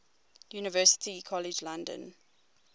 university college london